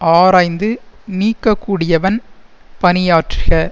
ஆராய்ந்து நீக்க கூடியவன் பணியாற்றுக